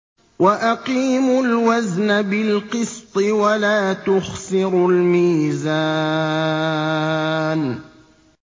وَأَقِيمُوا الْوَزْنَ بِالْقِسْطِ وَلَا تُخْسِرُوا الْمِيزَانَ